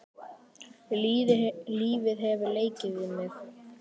Lífið hefur leikið við mig.